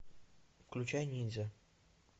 включай ниндзя